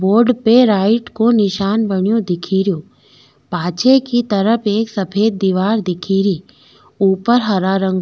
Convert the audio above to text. board पे right को निशान बनियो दिखेरो पाछे की तरफ एक सफ़ेद दिवार दिखेरी ऊपर हरा रंग --